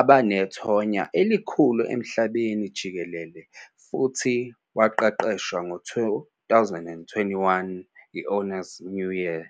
abanethonya elikhulu emhlabeni jikelele, futhi waqeqeshwa ku-2021 Honours New Year.